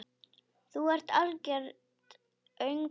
Þú ert algert öngvit!